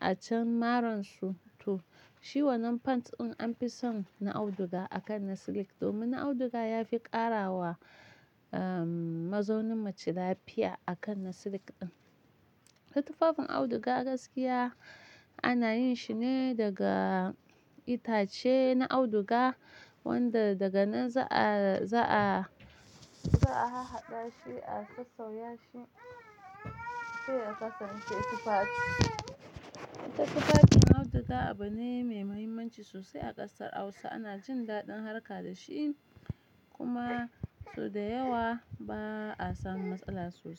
a can maransu to shi wannan pants din an fi son na auduga akan na silik domin na auduga ya fi ƙara wa, um, mazaunin mace lafiya akan na silik ɗin. To tufafin auduga gaskiya ana yin shi ne daga itace na auduga, wanda daga nan za'a, za'a, za'a hahaɗa shi, a sassauya shi sai ya kasance tufafi. Ita tufafin auduga abu ne mai muhimmanci sosai a ƙasar Hausa. Ana jin daɗin harka da shi kuma sau da yawa ba a samun matsala sosai.